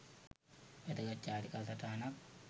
වැදගත් චාරිකා සටහනක්